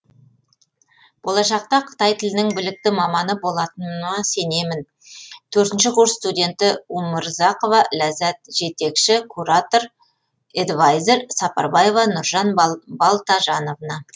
болашақта қытай тілінің білікті маманы болатыныма сенемін төртінші курс студенті умурзакова ләззатжетекші куратор эдвайзер сапарбаева нуржан балтажановна